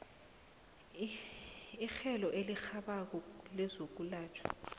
itjhejo elirhabako lezokwelatjhwa